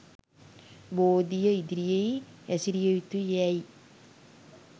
බෝධිය ඉදිරියෙහි හැසිරිය යුතු යැයි